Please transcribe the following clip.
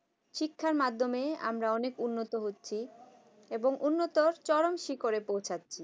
শিক্ষার মাধ্যমে আমরা অনেক উন্নত হচ্ছে এবং উন্নত চরম শিখরে পৌছাচ্ছে